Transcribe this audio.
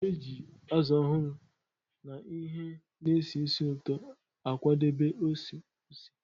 A na-eji azụ ọhụrụ na ihe na-esi ísì ụtọ akwadebe ose ose.